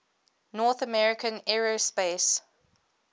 north american aerospace